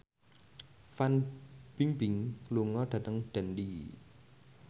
Fan Bingbing lunga dhateng Dundee